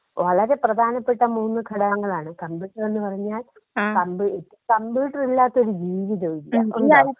വളരെ പ്രധാനപ്പെട്ട മൂന്ന് ഘടകങ്ങളാണ് കമ്പ്യൂട്ടർ എന്ന് പറഞ്ഞാൽ കമ്പ്യൂ കമ്പ്യൂട്ടർ ഇല്ലാത്തൊരു ജീവിതമില്ല.